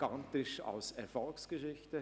Das ist ebenfalls eine Erfolgsgeschichte.